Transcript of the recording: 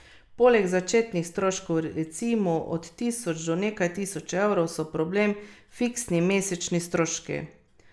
Poleg začetnih stroškov, recimo od tisoč do nekaj tisoč evrov, so problem fiksni mesečni stroški.